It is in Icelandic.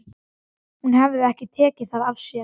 Hún hafði ekki tekið það af sér.